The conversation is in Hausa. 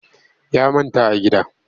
Ya manta a gida